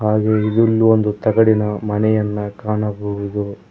ಹಾಗೆ ಇದುಲ್ಲು ಒಂದು ತಗಡಿನ ಮನೆಯನ್ನ ಕಾಣಬಹುದು.